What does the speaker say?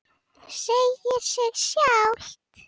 Segir sig sjálft.